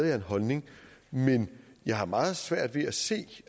jeg en holdning men jeg har meget svært ved at se